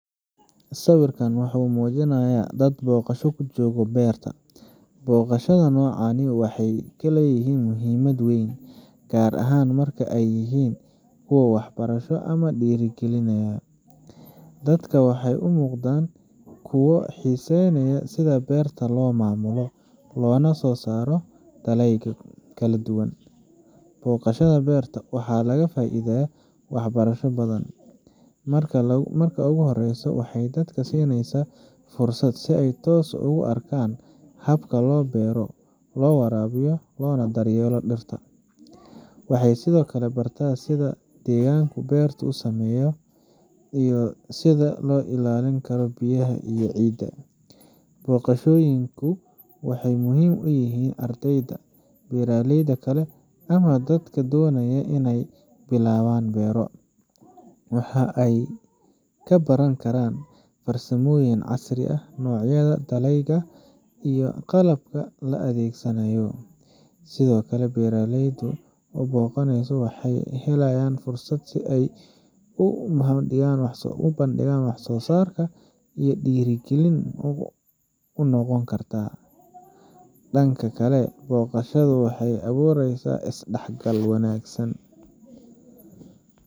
Sawirkan waxa uu muujinayaa dad booqasho ku jooga beer. Booqashooyinka noocan ah waxay leeyihiin muhiimad weyn, gaar ahaan marka ay yihiin kuwo waxbarasho ama dhiirrigelinaya. Dadkani waxay u muuqdaan kuwo xiiseynaya sida beerta loo maamulo, loona soo saaro dalagyada kala duwan. Booqashada beerta waxa laga faa’iidayaa wax barasho badan. Marka ugu horreysa, waxay dadka siinaysaa fursad ay si ay toos ah ugu arkaan habka loo beero, loo waraabiyo, loona daryeelo dhirta. Waxay sidoo kale bartaan sida deegaanka beertu u saameeyo, iyo sida loo ilaalin karo biyaha iyo ciidda. Booqashooyinku waxay muhiim u yihiin ardayda, beeraleyda kale, ama dadka doonaya in ay bilaabaan beero. Waxa ay ka baran karaan farsamooyin casri ah, noocyada dalagyada, iyo qalabka la adeegsanayo. Sidoo kale, beeraleyda la booqanayo waxay helayaan fursad ay ku soo bandhigaan wax soo saarkooda, taas oo dhiirrigelin u noqon karta. Dhanka kale, booqashadani waxay abuureysaa is dhexgal wanagsan.